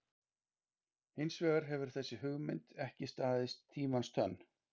Hins vegar hefur þessi hugmynd ekki staðist tímans tönn.